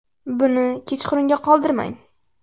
Buni kechqurunga qoldirmang.